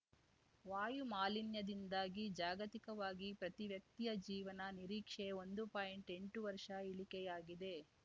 ವಾಯು ಮಾಲಿನ್ಯದಿಂದಾಗಿ ಜಾಗತಿಕವಾಗಿ ಪ್ರತಿ ವ್ಯಕ್ತಿಯ ಜೀವನ ನಿರೀಕ್ಷೆ ಒಂದು ಪಾಯಿಂಟ್ಎಂಟು ವರ್ಷ ಇಳಿಕೆಯಾಗಿದೆ